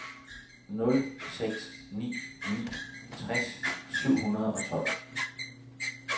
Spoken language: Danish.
nul seks ni ni tres syv hundrede og tolv